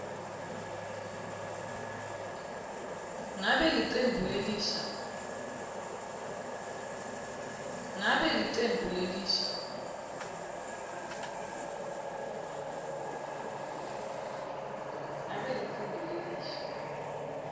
ngabe licembu lelisha